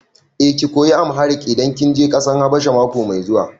Eh, ki koyi Amharic idan kin je ƙasar Habasha mako mai zuwa.